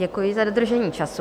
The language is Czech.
Děkuji za dodržení času.